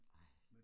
Ej